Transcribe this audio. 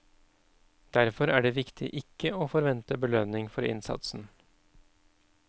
Derfor er det viktig ikke å forvente belønning for innsatsen.